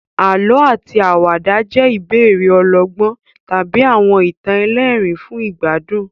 Àlọ́ àti àwàdà jẹ́ ìbéèrè ọlọ́gbọ́n tàbí àwọn ìtàn ẹlẹ́rìn-ín fún ìgbádùn.